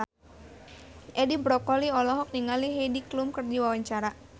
Edi Brokoli olohok ningali Heidi Klum keur diwawancara